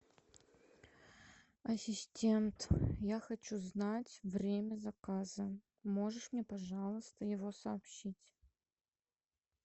ассистент я хочу знать время заказа можешь мне пожалуйста его сообщить